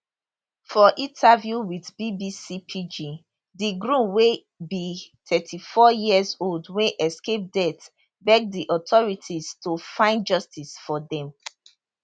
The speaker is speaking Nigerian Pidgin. for interview wit bbc pidgin di groom wey be 34 years old wey escape death beg di authorities to find justice for dem